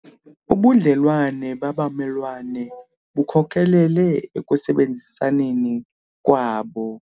Ubudlelwane babamelwane bukhokelele ekusebenzisaneni kwabo.